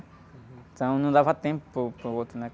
Então não dava tempo para o, para o outro, né?